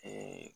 Ee